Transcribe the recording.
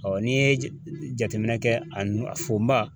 n'i ye jateminɛ kɛ a nu fonba